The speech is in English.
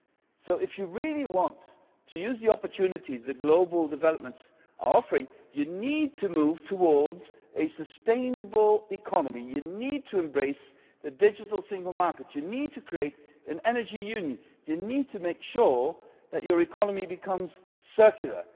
So if you really want to use the opportunities that global developments are offering, you need to move towards a sustainable economy, you need to embrace the digital single market, you need to create an energy union and you need to make sure that your economy becomes circular.